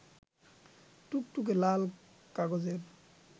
টুকটুকে লাল কাগজের